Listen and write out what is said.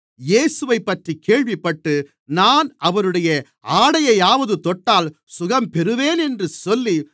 இயேசுவைப்பற்றிக் கேள்விப்பட்டு நான் அவருடைய ஆடையையாவது தொட்டால் சுகம் பெறுவேன் என்று சொல்லி